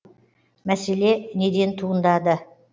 мәселе неден туындады